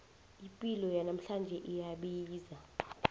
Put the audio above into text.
ipilo yanamhlanje iyabiza